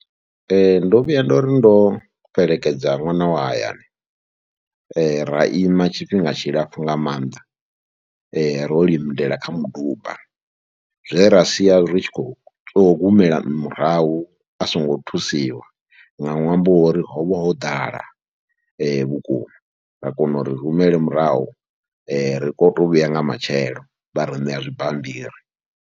Ee, ndo vhuya ndo ri ndo fhelekedza ṅwana wa hayani ra ima tshifhinga tshilapfhu nga maanḓa, ro limela kha muduba, zwe ra sia ri tshi khou tou humela murahu a songo thusiwa nga ṅwambo wa uri ho vha ho ḓala vhukuma. Ra kona u rumele murahu, ri kone tou vhuya nga matshelo vha ri ṋea zwibammbiri.